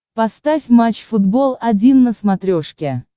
поставь матч футбол один на смотрешке